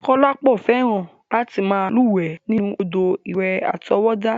Kọ́lápọ̀ fẹ́ràn láti máa lúwẹ̀ẹ́ nínú òdò ìwẹ̀ àtọwọ́dá.